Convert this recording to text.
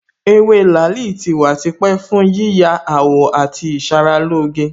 Ewé làálì tí wà tipẹ́ fún yíya àwọ̀ àti ìṣaralóge